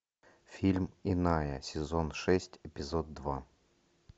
фильм иная сезон шесть эпизод два